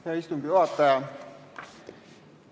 Hea istungi juhataja!